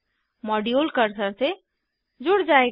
module cursor से जुड़ जायेगा